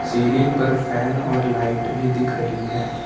Ceiling पर fan और light भी दिख रही है।